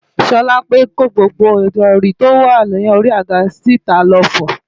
Ṣọlápe kó gbogbo ìrọ̀rí tó wà lórí i àga síta lọ fọ̀